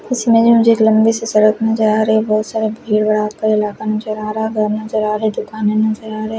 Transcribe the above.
इसमें भी मुझे एक लम्बी सी सड़क नजर आ रही है बहुत सारा भीड़ भाड का इलाका नजर आ रहा घर नजर आ रहे दुकाने नजर आ रही--